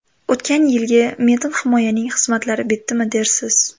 O‘tgan yilgi metin himoyaning xizmatlari bitdimi dersiz?